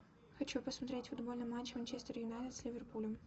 хочу посмотреть футбольный матч манчестер юнайтед с ливерпулем